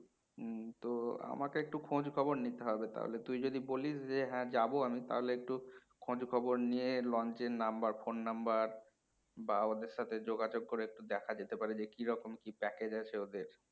হম তো আমাকে একটু খোঁজ খবর নিতে হবে তাহলে তুই যদি বলিস যে হ্যাঁ যাবো আমি তাহলে একটু খোঁজ খবর নিয়ে launch এর number phone number বা ওদের সাথে যোগাযোগ করে একটু দেখা যেতে পারে যে কি রকম কি package আছে ওদের